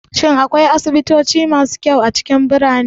Shin akwai asibitoci masu kyau a cikin birane?